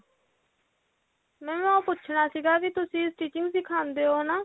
mam ਉਹ ਪੁੱਛਣਾ ਸੀਗਾ ਵੀ ਤੁਸੀਂ stitching ਸਿਖਾਂਦੇ ਹੋ ਹਨਾ